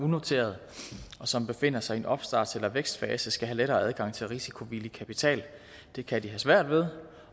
unoterede og som befinder sig i en opstarts eller vækstfase skal have lettere adgang til risikovillig kapital det kan de have svært ved